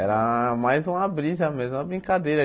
Era mais uma brisa mesmo, uma brincadeira.